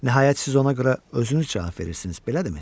Nəhayət siz ona görə özünüz cavab verirsiniz, belədirmi?